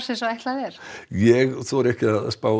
eins og ætlað er ég þori ekki að spá